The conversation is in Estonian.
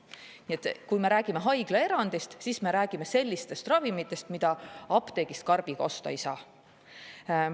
Nii et kui me räägime haiglaerandist, siis me räägime sellistest ravimitest, mida apteegist karbiga osta ei saa.